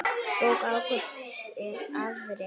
Bók Ágústs er afrek.